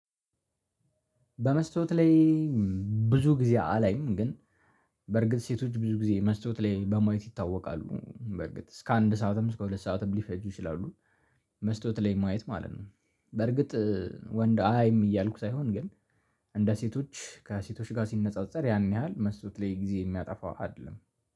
በመስታወት ላይ ብዙ ጊዜ አላይም። ግን በርግጥ ሴቶች ብዙ ጊዜ መስተዋት ላይ በማየት ይታወቃሉ። በርግጥ እስከ አንድ ሰዓትም እስከ ሁለት ሰዓትም ሊፈጁ ይችላሉ። መስቶት ላይ ማየት ማለት ነው። በርግጥ ወንድ አያይም እያልኩ ሳይሆን ግን እንደ ሴቶች ከሴቶች ጋር ሲነጻጸር ያን ያህል መስቶት ላይ ጊዜ የሚያጠፋ አይደለም